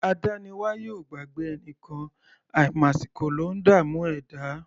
Adániwáyè ò gbàgbé ẹnìkan; àìmàsìkò ló ńdààmú ẹ̀dá.